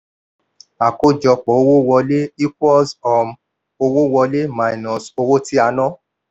Ìwé ìwọ̀ntúnwọ̀nsì fi fi hàn one thousand dollars dípò three thousand fiẹe hundred dollars owó wọlé kéré síi